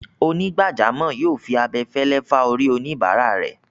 Onígbàjámọ̀ yóò fi abẹfẹ́lẹ́ fá orí oníbáràa rẹ̀.